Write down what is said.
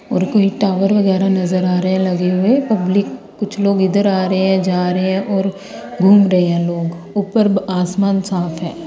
और कोई टावर वगैरा नजर आ रहे लगे हुए पब्लिक कुछ लोग इधर आ रहे हैं जा रहे हैं और घूम रहे हैं लोग ऊपर आसमान साफ है।